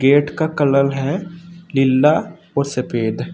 Gate का colour है नीला और सफेद।